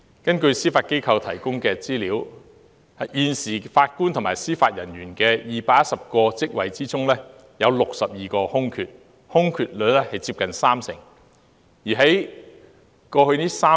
根據司法機構提供的資料，在現時法官及司法人員的218個職位中，有62個空缺，空缺率接近三成。